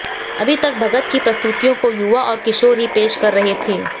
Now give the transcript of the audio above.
अभी तक भगत की प्रस्तुतियों को युवा और किशोर ही पेश कर रहे थे